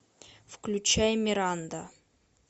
включай миранда